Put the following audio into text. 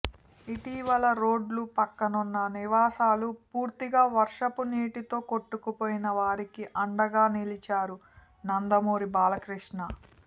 ఇటీవల రోడ్డు పక్కనున్న నివాసాలు పూర్తిగా వర్షపు నీరుతో కొట్టుకుపోయిన వారికి అండగా నిలిచారు నందమూరి బాలకృష్ణ